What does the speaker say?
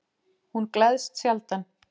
Hún gleðst sjaldan.